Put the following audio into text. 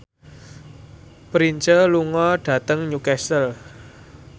Prince lunga dhateng Newcastle